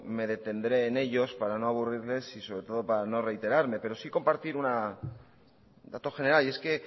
me detendré en ellos para no aburrirles y sobre todo para no reiterarme pero sí compartir un dato general